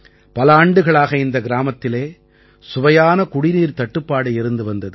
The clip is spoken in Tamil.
பல ஆண்டுகளாக இந்த கிராமத்திலே சுவையான குடிநீர்க்குத் தட்டுப்பாடு இருந்து வந்தது